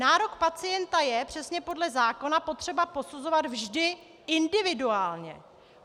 Nárok pacienta je, přesně podle zákona, potřeba posuzovat vždy individuálně.